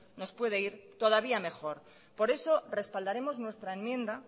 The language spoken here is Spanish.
nos puede ir todavía mejor por eso respaldaremos nuestra enmienda